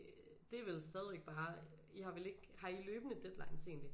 Det er vel stadigvæk bare I har vel ikke har I løbende deadlines egentlig